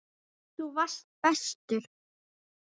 Þú varst bestur.